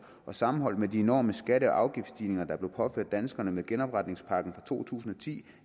og sammenholdt med de enorme skatte og afgiftsstigninger der blev påført danskerne med genopretningsaftalen to tusind og ti